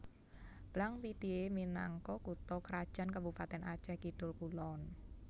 Blang Pidie minangka kutha krajan Kabupatèn Acèh Kidul kulon